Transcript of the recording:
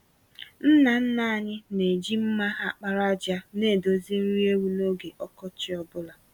Nna nna anyị na-eji mma àkpàràjà nedozi nri ewu n’oge ọkọchị ọ bụla.